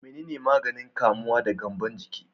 Menene maganin kamuwa da gyambon ciki?